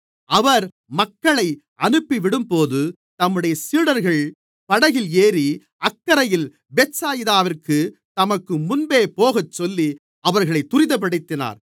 அவர் மக்களை அனுப்பிவிடும்போது தம்முடைய சீடர்கள் படகில் ஏறி அக்கரையில் பெத்சாயிதாவிற்கு தமக்கு முன்பே போகச்சொல்லி அவர்களை துரிதப்படுத்தினார்